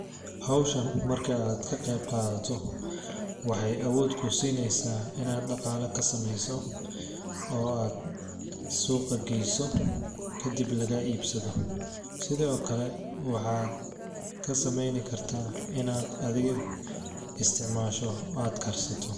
Hawshan marki aad ka qeyb qaadato waxeey awood kuu sineysaa inaad dhaqaala ka sameyso oo aad suuuqa geeyso kadib lagaa iibsado sidi oo kale waxaad ka sameyni karta inaad adiga isticmaasho oo aad karsato.